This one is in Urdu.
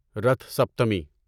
رتھ سپتمی